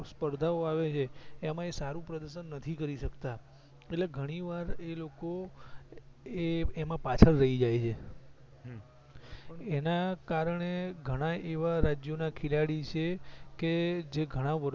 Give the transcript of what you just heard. સપર્ધા ઓ આવેછે એમાંય સારું પ્રદશન નથી કરી શકતા એટલી ઘણી વાર એલોકો એમાં પાછળ રહી જાય છે એના કારણે ઘણાય એવા રાજ્યો ના ખેલાડી છે કે જે ઘણા વર્ષો